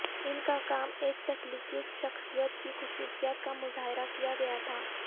ان کا کام ایک تخلیقی شخصیت کی خصوصیات کا مظاہرہ کیا گیا تھا